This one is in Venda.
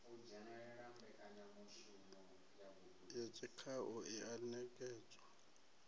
ya tshikhau i a ṋekedzwa